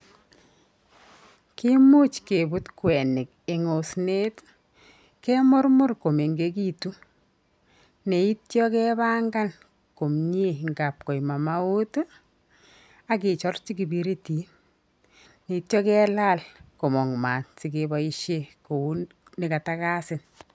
Kimuch kebut kwenik eng osnet, kemurmur komengekitu, neityo kepangan komnye eng kapkoimamaut ii, ak kechorchi kibiritit, yeityo kelaal komong maat kou ne koto kasit.